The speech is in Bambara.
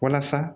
Walasa